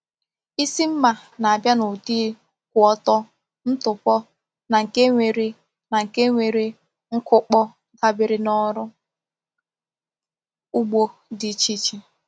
Isi mma na-abịa n’ụdị kwụ ọtọ, ntụpọ, na nke nwere na nke nwere nkụkpọ, dabere na ọrụ ugbo dị iche iche.